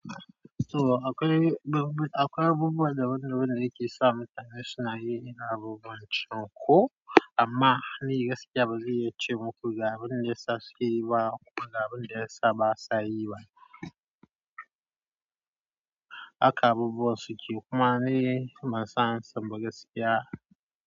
So akwai abubuwa da wadanne yake isa international yayin da abubuwan cunko amma ni gaskiya bari yace muku ga abin da ya sace yiwa kuma ga abin da ya saba a yiwa. Haka abubuwan suke kuma ni ban soan amsan ba gaskiya.